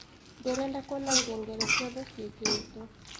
ndĩrenda kũona ngengere cĩothe cĩĩkĩrĩtwo